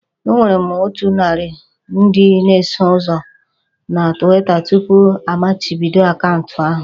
Enwere m otu narị ndị na-eso ụzọ na Twitter tupu amachibido akaụntụ ahụ